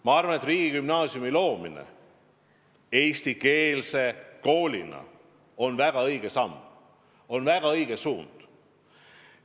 Ma arvan, et riigigümnaasiumi loomine eestikeelse koolina on väga õige samm, on väga õige suund.